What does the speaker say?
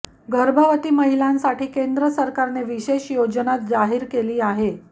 गर्भवती महिलांसाठी केंद्र सरकारने विशेष योजना जाहीर केली आहे